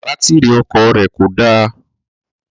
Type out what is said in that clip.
Bátírì ọkọ̀ rẹ̀ kò dá